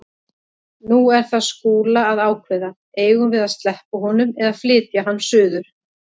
Nú er það Skúla að ákveða: Eigum við að sleppa honum eða flytja hann suður?